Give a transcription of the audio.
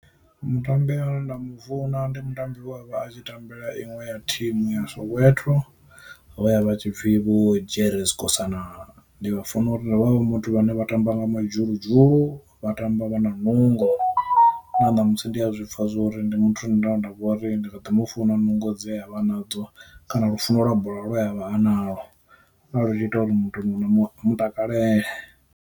Mutambi ane nda mufuna ndi mutambi we avha a tshi tambela inwe ya thimu ya Soweto vha ya vha tshipfi Vho Jerry Skhosana. Ndi vha funela uri vho vha vhe muthu vhane vha tamba nga madzhuludzhulu, vha tamba vha na nungo na ṋamusi ndi a zwi pfha zwori ndi muthu nda nda vhori ndi nga ḓo mu funa nungo dze a vha na dzo kana lufuno lwa bola lwe a vha analwo, lwa lu tshi ita uri muthu no mu takalele.